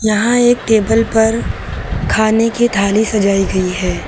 यहां एक टेबल पर खाने की थाली सजाई गई है।